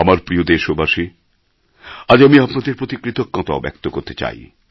আমার প্রিয় দেশবাসী আজ আমি আপনাদের প্রতি কৃতজ্ঞতাও ব্যক্ত করতে চাই